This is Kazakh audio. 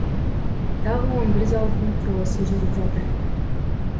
тағы он бір зауыттың құрылысы жүріп жатыр